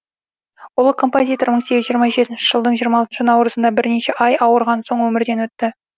ұлы композитор мың сегіз жүз жиырма жетінші жылдың жиырма алтыншы науырызында бірнеше ай ауырған соң өмірден өтті